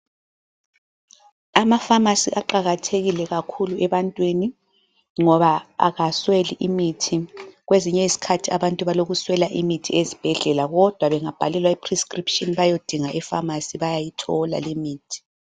Amafamasi aqakathekile kakhulu ebantwini ngoba akasweli imithi. Kwezinye izikhathi abantu balokuswela imithi ezibhedlela kodwa bengabhalelwa i-prescription bayodinga efamasi bayayithola limithi.